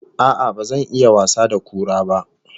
A'a, ba zan iya wasa da kura ba